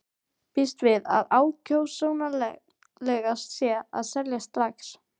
Býst við að ákjósanlegast sé að selja strax.